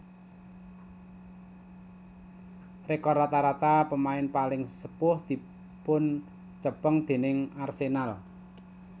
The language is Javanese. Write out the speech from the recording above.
Rekor rata rata pemain paling sepuh dipuncepeng déning Arsenal